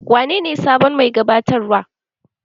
Wanene sabon mai gabatarwa?